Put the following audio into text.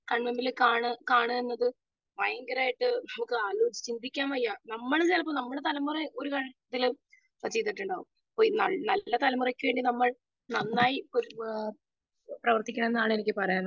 speaker 2 കാണുക എന്നത് ഭയങ്കരമായിട്ടു ചിന്തിക്കാൻ വയ്യ നമ്മൾ നമ്മളുടെ തലമുറ തലമുറക് വേണ്ടി നമ്മൾ നന്നായി പ്രവർത്തിക്കണമെന്നാണ് എനിക്ക് പറയാനുള്ളത്